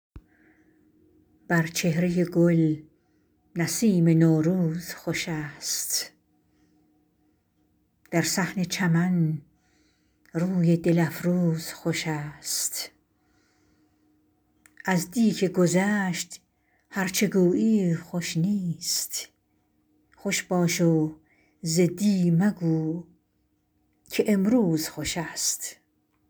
بر چهرۀ گل نسیم نوروز خوش است در صحن چمن روی دل افروز خوش است از دی که گذشت هر چه گویی خوش نیست خوش باش و ز دی مگو که امروز خوش است